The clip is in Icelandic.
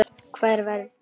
Hvar verpir krían?